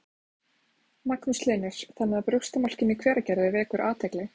Magnús Hlynur: Þannig að brjóstamjólkin í Hveragerði vekur athygli?